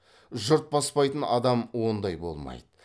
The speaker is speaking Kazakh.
жұрт бастайтын адам ондай болмайды